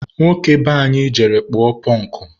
nwoke be anyị jere kpụọ pụnkụ.